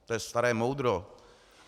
To je staré moudro.